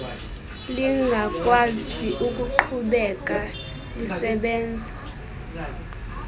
lingakwazi ukuqhubekeka lisebenza